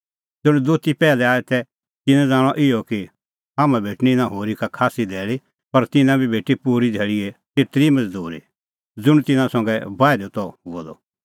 ज़ुंण दोती पैहलै आऐ तै तिन्नैं ज़ाणअ इहअ कि हाम्हां भेटणीं इना होरी का खास्सी धैल़ी पर तिन्नां बी भेटी पूरी धैल़ीए तेतरी ई मज़दूरी ज़ुंण तिन्नां संघै बाहिदअ त हुअ द